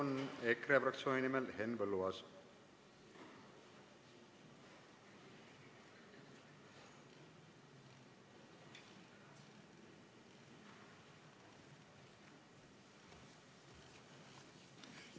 Nüüd EKRE fraktsiooni nimel Henn Põlluaas, palun!